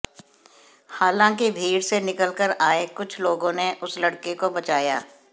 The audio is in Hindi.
हालांकि भीड़ से निकलकर आए कुछ लोगों ने उस लड़के को बचाया